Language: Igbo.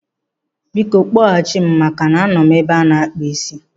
Biko, kpọghachi m maka na anọ m n'ebe ana-akpụ ísí